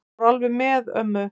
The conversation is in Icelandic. Þetta fór alveg með ömmu.